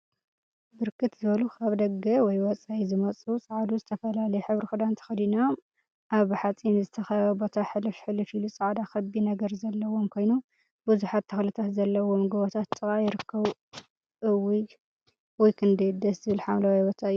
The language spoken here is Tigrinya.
ብርክት ዝበሉ ካብ ደገ/ወፃኢ ዝመፁ ፀዓዱ ዝተፈላለየ ሕብሪ ክዳን ተከደኖም አብ ብሓፂን ዝተከበበ ቦታ ሕልፍ ሕልፍ ኢሉ ፃዕዳ ክቢ ነገር ዘለዎም ኮይኑ፤ ቡዙሓት ተክሊታት ዘለውዎም ጎቦታት ጥቃ ይርከቡ፡፡ እውይ ክንደይ ደስ ዝብል ሓምለዋይ ቦታ እዩ፡፡